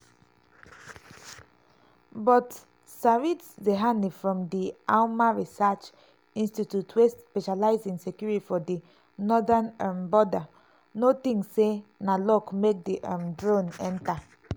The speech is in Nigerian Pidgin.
but sarit zehani from di alma research institute wey specialise in security for di northern um border no tink say na luck make di um drones enta.